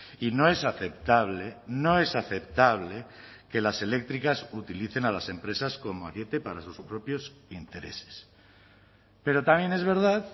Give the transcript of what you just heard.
y no es aceptable no es aceptable que las eléctricas utilicen a las empresas como ariete para sus propios intereses pero también es verdad